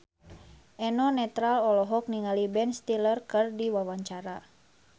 Eno Netral olohok ningali Ben Stiller keur diwawancara